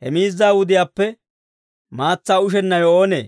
he miizza wudiyaappe maatsaa ushennawe oonee?